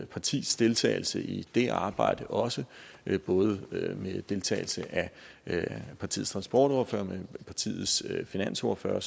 partis deltagelse i det arbejde også både med deltagelse af partiets transportordfører og partiets finansordfører